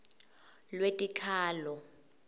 lwetikhalo